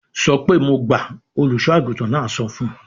"Sọ pé mo gbà!" Olùṣọ́-àgùntàn náà sọ fún un.